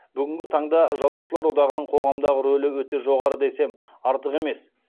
бүгінгі таңда жазушылар одағының қоғамдағы рөлі өте жоғары десем артық емес